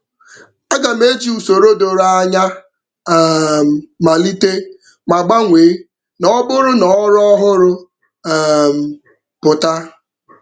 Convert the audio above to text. Aga m eji usoro doro anya um malite ma gbanwee na ọ bụrụ na ọrụ ọhụrụ um pụta.